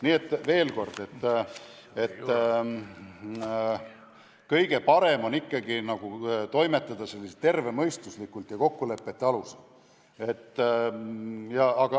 Nii et veel kord, kõige parem on toimetada ikkagi sedasi tervemõistuslikult ja kokkulepete alusel.